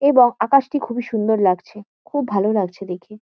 এবং আকাশটি খুবই সুন্দর লাগছে। খুব ভালো লাগছে দেখে।